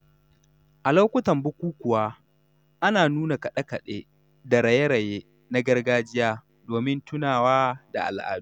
A lokutan bukukuwa, ana nuna kaɗe-kaɗe da raye-raye na gargajiya domin tunawa da al’adu.